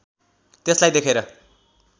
त्यसलाई देखेर